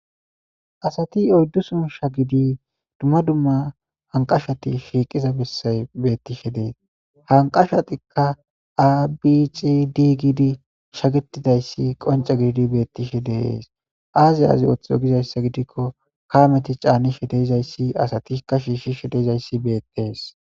asati oyddu sun sha gidi dumma dumma hanqashati shiiqiza bessay bettishe dee hanqashatikka aabici di gidi shagitidayssi qonca gididi bettishe deees aazi aazi ooththi ogizayssa gidikko kaameti caani shedeyzayssi asatikka shiishshi shedezayssi beeqtees